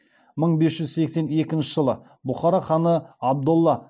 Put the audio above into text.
мың бес жүз сексен екінші жылы бұхара ханы абдолла